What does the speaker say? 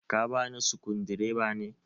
ka bani sukudireba ne?